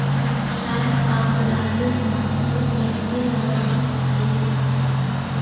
Shayx Abdulaziz Mansur yangi lavozimga tayinlandi.